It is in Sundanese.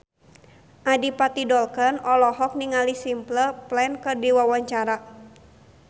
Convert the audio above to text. Adipati Dolken olohok ningali Simple Plan keur diwawancara